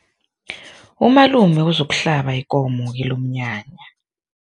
Umalume uzokuhlaba ikomo kilomnyanya.